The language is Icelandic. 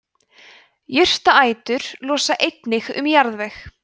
jurtaætur losa einnig um jarðveg